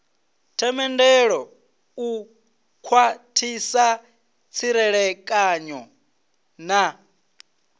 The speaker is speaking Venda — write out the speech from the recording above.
themendelo u khwathisa tserekano na